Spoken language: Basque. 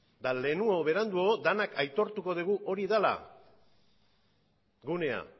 eta lehenago edo beranduago denak aitortuko dugu hori dela gunea